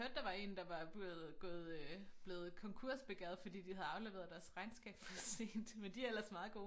Jeg hørte der var en der var blevet gået øh blevet konkursbegæret fordi de havde afleveret deres regnskab for sent men de er ellers meget gode